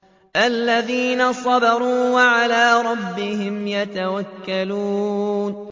الَّذِينَ صَبَرُوا وَعَلَىٰ رَبِّهِمْ يَتَوَكَّلُونَ